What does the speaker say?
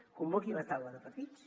convoqui la taula de partits